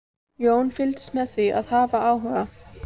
Jón fylgdist með því af áhuga.